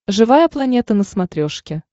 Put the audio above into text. живая планета на смотрешке